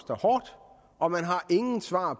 fra